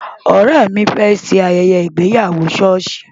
Ọ̀rẹ́ mi fẹ́ ṣe ayẹyẹ ìgbéyàwó ṣọ́ọ̀ṣì.